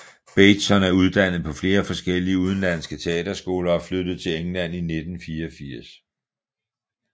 Bateson er uddannet på flere forskellige udenlandske teaterskoler og flyttede til England i 1984